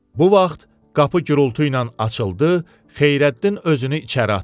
Bu vaxt qapı gurultuyla açıldı, Xeyrəddin özünü içəri atdı.